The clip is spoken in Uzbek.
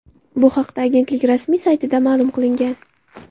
Bu haqda agentlik rasmiy saytida ma’lum qilingan .